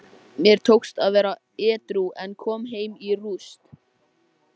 Guðfinnur, hvenær kemur leið númer þrjátíu og þrjú?